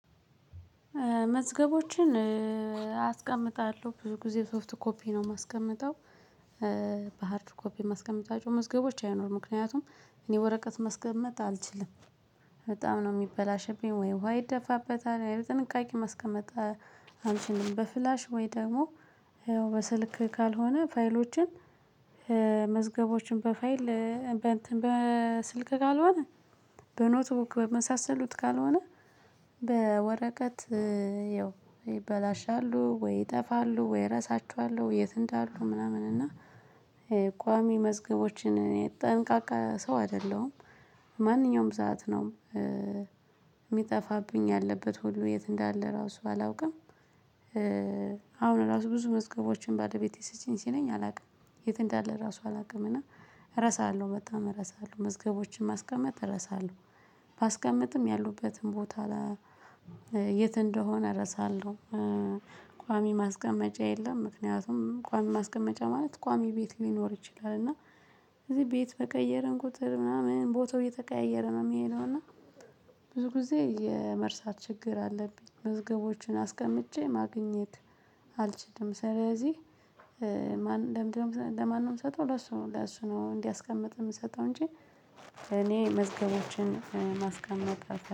መዝገቦችን አስቀምጣለሁ ብዙ ጊዜ ሶፍት ኮፒ ነው የማስቀምጠው። በሃርድ ኮፒ ማስቀምጣቸው መዝገቦች አይኖሩም ምክንያቱም እኔ ወረቀት ማስቀመጥ አልችልም። በጣም ነው የሚበላሸብኝ ወይ ዉሃ ይደፋበታል ያው ጥንቃቄ ማስቀመጥ አልችልም። በፍላሽ ወይ ደግሞ በስልክ ካልሆነ ፋይሎችን መዝገቦችን በፋይል በእንትን በስልክ ካልሆነ በኖትቡክ በመሳሰሉት ካልሆነ በወረቀት ይበላሻሉ ወይ ይጠፋሉ ወይ እረሳችኋለሁ። የት እንዳሉ ምናምን እና የቋሚ መዝገቦችን ጠንቃቃ ሰው አይደለሁም። ማንኛውም ሰዓት ነው የሚጠፋብኝ ያለበት ሁሉ የት እንዳለ ራሱ አላውቅም። አሁን ራሱ ብዙ መዝገቦችን ባለቤቴ ስጪኝ ሲለኝ አላውቅም የት እንዳለ ራሱ አላውቅምና እረሳለሁ መጣም እረሳለሁ መዝገቦችን ማስቀመጥ እረሳለሁ። ባስቀምጥም ያሉበትን ቦታ የት እንደሆነ እረሳለሁ። ቋሚ ማስቀመጫ የለም ምክንያቱም ቋሚ ማስቀመጫ ማለት ቋሚ ቤት ሊኖር ይችላል። እና እዚህ ቤት በቀየረን ቁጥር ምናምን ቦታው እየተቀያየረ ነው የሚሄደው። እና ብዙ ብዙ ጊዜ የመርሳት ችግር አለብኝ መዝገቦቹን አስቀምጬ ማግኘት አልችልም። ስለዚህ ለምንድነው ለማን ነው ምሰጠው? ለሱ ለሱ ነው እንዲያስቀምጥ የምንሰጠው እንጂ። እኔ መዝገባችን ማስቀመጥ አልፈልግም